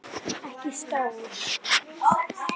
Ekki stór.